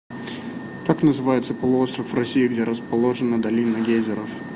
как называется полуостров в россии где расположена долина гейзеров